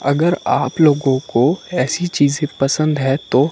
अगर आप लोगो को ऐसी चीज पसंद है तो--